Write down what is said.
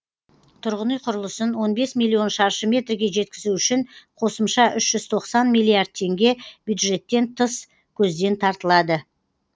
тұрғын үй құрылысын он бес миллион шаршы метрге жеткізу үшін қосымша үш жүз тоқсан миллиард теңге бюджеттен тыс көзден тартылады